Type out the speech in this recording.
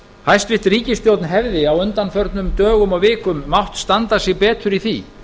hæstvirt ríkisstjórn hefði á undanförnum dögum og vikum mátt standa sig betur í því